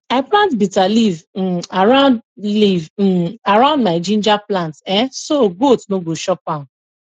i plant bitter leaf um around leaf um around my ginger plant um so goat no go chop am